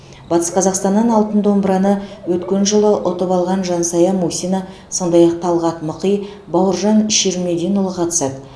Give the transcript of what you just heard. батыс қазақстаннан алтын домбыраны өткен жылы ұтып алған жансая мусина сондай ақ талғат мықи бауыржан ширмединұлы қатысады